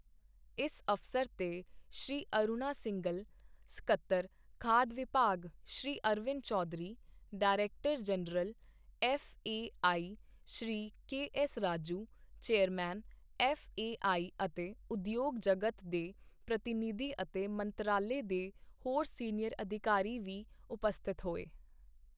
ਇਸ ਅਵਸਰ ਤੇ ਸ਼੍ਰੀ ਅਰੁਣਾ ਸਿੰਘਲ, ਸਕੱਤਰ, ਖਾਦ ਵਿਭਾਗ, Shri Arvind Chaudhary, director general, FAI, Shri K S Raju, chairman, FAI ਅਤੇ ਉਦਯੋਗ ਜਗਤ ਦੇ ਪ੍ਰਤੀਨਿਧੀ ਅਤੇ ਮੰਤਰਾਲੇ ਦੇ ਹੋਰ ਸੀਨੀਅਰ ਅਧਿਕਾਰੀ ਵੀ ਉਪਸਥਿਤ ਹੋਏ।